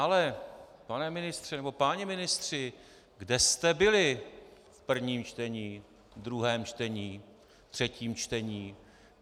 Ale pane ministře, nebo páni ministři, kde jste byli v prvním čtení, v druhém čtení, ve třetím čtení?